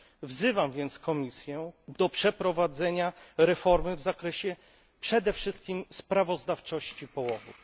Wzywam więc Komisję do przeprowadzenia reformy w zakresie przede wszystkim sprawozdawczości połowów.